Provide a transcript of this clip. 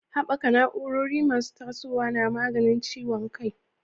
Haɓaka na'urori masu tasowa na maganin ciwon kai.